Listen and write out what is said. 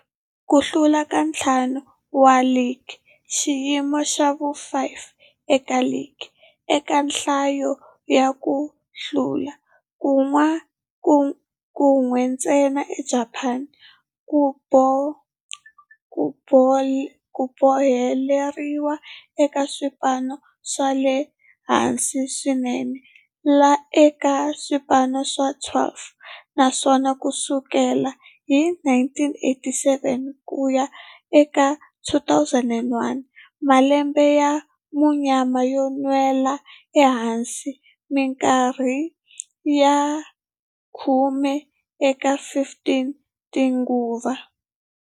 Ku hlula ka ntlhanu wa ligi, xiyimo xa vu-5 eka ligi eka nhlayo ya ku hlula, kan'we ntsena eJapani, ku boheleriwile eka swipano swa le hansi swinene eka swipano swa 12, naswona ku sukela hi 1987 ku ya eka 2001, malembe ya munyama yo nwela ehansi minkarhi ya khume eka 15 tinguva.